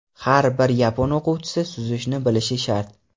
Har bir yapon o‘quvchisi suzishni bilishi shart!.